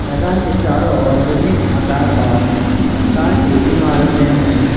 मैदान के चारों ओर विभिन्न आकार और आकार की इमारतें हैं।